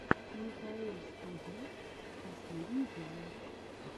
микаэльстудио последний эпизод